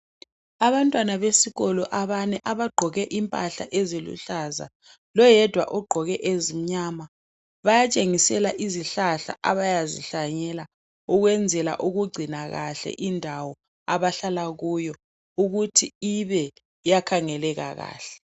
Abantwana besikolo abane, abagqoke impahla eziluhlaza . Loyedwa ogqoke ezimnyama. Bayatshengisela izihlahla abayazi hlanyela ukwenzela ukugcina kahle indawo abahlala kuyo ukuthi ibe yakhangeleka kahle.